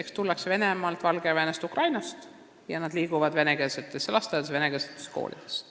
Kui tullakse Venemaalt, Valgevenest ja Ukrainast, siis liigutakse venekeelsetesse lasteaedadesse ja koolidesse.